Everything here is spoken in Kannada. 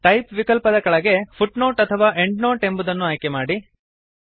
ಟೈಪ್ ವಿಕಲ್ಪದ ಕೆಳಗೆ ಫುಟ್ನೋಟ್ ಅಥವಾ ಎಂಡ್ನೋಟ್ ಎಂಬುದನ್ನು ಆಯ್ಕೆ ಮಾಡಿ